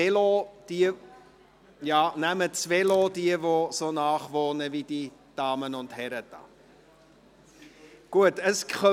Oder nehmen Sie das Fahrrad, wenn Sie nahe genug wohnen.